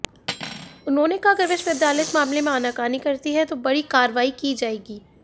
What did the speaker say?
उन्होंने कहा अगर विश्वविद्यालय इस मामले में आनाकानी करती है तो बड़ी कार्रवाई की जाएगी